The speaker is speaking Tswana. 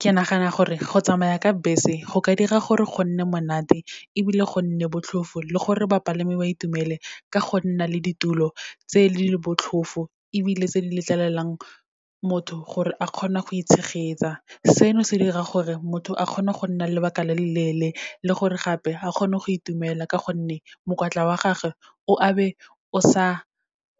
Ke nagana gore go tsamaya ka bese go ka dira gore go nne monate, ebile go nne botlhofo le gore bapalami ba itumele ka go nna le ditulo tse botlhofo, ebile tse di letlelelang motho gore a kgone go itshegetsa. Seno se dira gore, motho a kgone go nna lebaka le leleele le gore gape, a kgone go itumela ka gonne, mokwatla wa gage o a be o sa